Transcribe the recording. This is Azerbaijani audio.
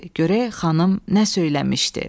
Görək xanım nə söyləmişdi.